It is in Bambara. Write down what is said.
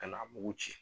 Ka n'a mugu ci